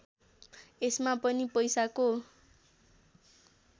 यसमा पनि पैसाको